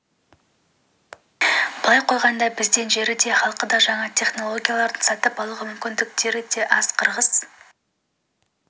былай қойғанда бізден жері де халқы да жаңа технологияларды сатып алуға мүмкіндіктері де аз қырғыз